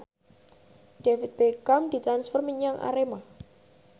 David Beckham ditransfer menyang Arema